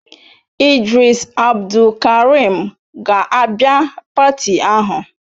Idris Abdulkarim ga-abịa pati ahụ